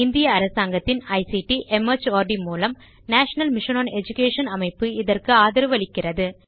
இந்திய அரசாங்கத்தின் ICT mart மூலம் நேஷனல் மிஷன் ஒன் எடுகேஷன் அமைப்பு இதற்கு ஆதரவளிக்கிறது